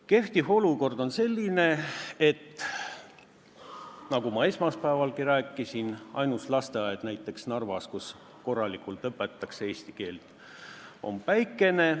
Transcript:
Praegune olukord on selline, nagu ma esmaspäevalgi rääkisin, et näiteks Narvas on ainus lasteaed, kus õpetatakse korralikult eesti keelt, Päikene.